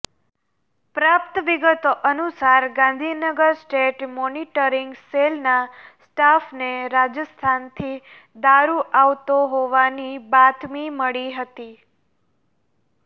પ્રાપ્ત વિગતો અનુસાર ગાંધીનગર સ્ટેટ મોનીટરીંગ સેલના સ્ટાફને રાજસ્થાનથી દારૂ આવતો હોવાની બાતમી મળી હતી